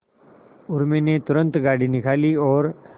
उर्मी ने तुरंत गाड़ी निकाली और